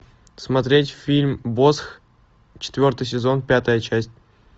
смотреть фильм босх четвертый сезон пятая часть